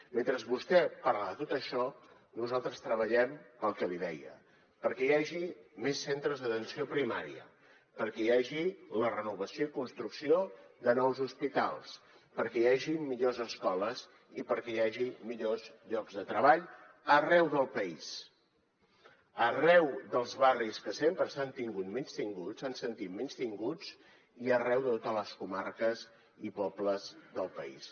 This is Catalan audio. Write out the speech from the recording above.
mentre vostè parla de tot això nosaltres treballem pel que li deia perquè hi hagi més centres d’atenció primària perquè hi hagi la renovació i construcció de nous hospitals perquè hi hagin millors escoles i perquè hi hagi millors llocs de treball arreu del país arreu dels barris que sempre s’han tingut menystinguts s’han sentit menystinguts i arreu de totes les comarques i pobles del país